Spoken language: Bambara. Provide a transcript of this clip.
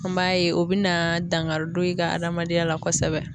An b'a ye o bɛna dangari don i ka adamadenya la kosɛbɛ.